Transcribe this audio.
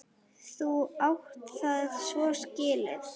Þú átt það svo skilið!